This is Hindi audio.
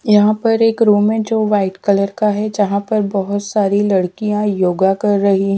यहाँ पर एक रूम है जो व्हाईट कलर का है जहाँ पर बहुत सारी लड़कियाँ योगा कर रही है।